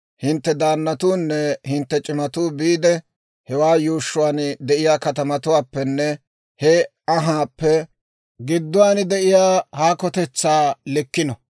hintte daannatuunne hintte c'imatuu biide, hewaa yuushshuwaan de'iyaa katamatuwaappenne he anhaappe gidduwaan de'iyaa haakotetsaa likkino.